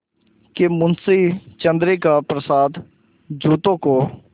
कि मुंशी चंद्रिका प्रसाद जूतों को